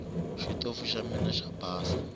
xitofu xa mina xo basa